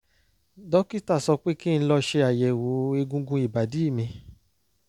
dókítà sọ pé kí n lọ ṣe àyẹ̀wò egungun ìbàdí mi